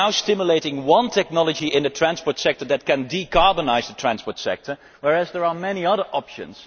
we are now stimulating just one technology in the transport sector that can decarbonise the transport sector, whereas there are many other options.